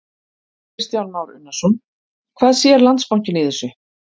Kristján Már Unnarsson: Hvað sér Landsbankinn í þessu?